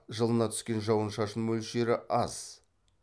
жылына түскен жауын шашын мөлшері аз